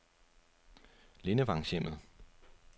Lindevangshjemmet